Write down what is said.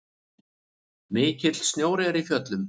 Mikill snjór er í fjöllum.